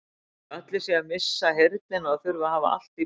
Eins og allir séu að missa heyrnina og þurfi að hafa allt í botni.